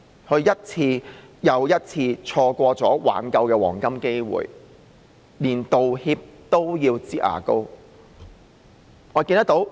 她一次又一次錯過挽救的黃金機會，連道歉都要"擠牙膏"。